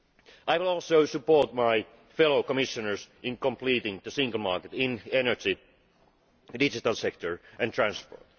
I will also support my fellow Commissioners in completing the single market in energy, the digital sector and transport.